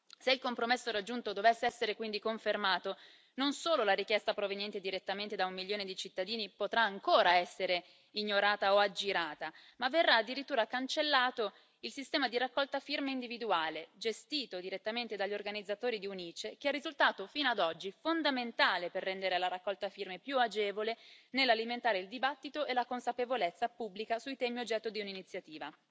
Se il compromesso raggiunto dovesse essere quindi confermato, non solo la richiesta proveniente direttamente da un milione di cittadini potrebbe ancora essere ignorata o aggirata, ma verrebbe addirittura cancellato il sistema di raccolta firme individuale, gestito direttamente dagli organizzatori di un'ICE, che è risultato fino ad oggi fondamentale per rendere la raccolta firme più agevole nell'alimentare il dibattito e la consapevolezza pubblica sui temi oggetto di un'iniziativa.